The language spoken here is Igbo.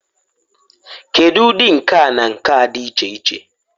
Kedu ụdị nka na nka dị iche iche?